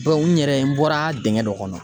n yɛrɛ, n bɔra dingɛ dɔ kɔnɔ.